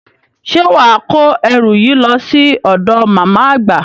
Ṣé wà á kó ẹrù yìí lọ sí ọ̀dọ̀ màmá àgbà?